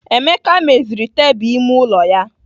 Emeka meziri tebụl ime ụlọ ya.